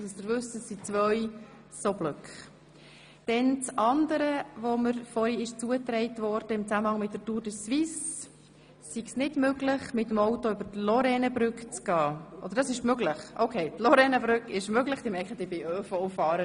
Dann wurde mir zugetragen, dass es wegen der Tour de Suisse noch möglich sei, die Stadt über die Lorrainebrücke zu verlassen, doch südlich davon sei alles versperrt.